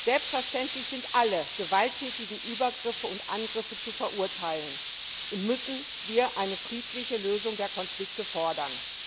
Selbstverständlich sind alle gewalttätigen Übergriffe und Angriffe zu verurteilen, und selbstverständlich müssen wir eine friedliche Lösung der Konflikte fordern.